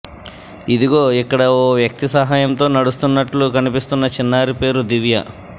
ఇదిగో ఇక్కడ ఓ వ్యక్తి సహాయంతో నడుస్తున్నట్లు కనిపిస్తున్న చిన్నారి పేరు దివ్య